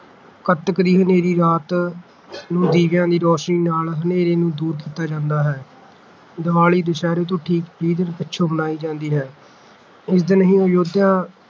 ਕਤੱਕ ਦੀ ਹਨੇਰੀ ਰਾਤ ਨੂੰ ਦੀਵਿਆਂ ਦੀ ਰੋਸ਼ਨੀ ਨਾਲ ਹਨੇਰੇ ਨੂੰ ਦੂਰ ਕੀਤਾ ਜਾਂਦਾ ਹੈ । ਦੀਵਾਲੀ ਦੁਸ਼ਹਿਰੇ ਤੋਂ ਠੀਕ ਵੀਹ ਦਿਨ ਪਿੱਛੋਂ ਮਨਾਈ ਜਾਂਦੀ ਹੈ। ਇਸ ਦਿਨ ਹੀ ਅਯੋਧਿਆ